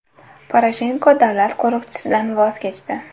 Poroshenko davlat qo‘riqchisidan voz kechdi.